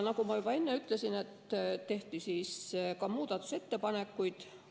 Nagu ma juba enne ütlesin, tehti ka muudatusettepanekuid.